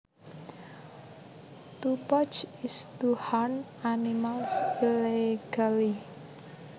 To poach is to hunt animals illegally